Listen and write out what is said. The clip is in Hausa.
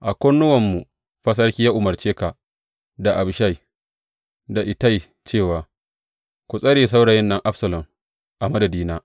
A kunnuwanmu fa sarki ya umarce ka, da Abishai, da Ittai cewa, Ku tsare saurayin nan Absalom a madadina.’